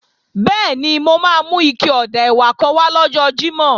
Bẹ́ẹ̀ni, mo máa mú ike ọ̀dà ẹ̀wà kan wá lọ́jọ́ Jímọ̀